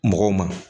Mɔgɔw ma